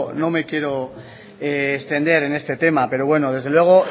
no me quiero extender en este tema pero bueno desde luego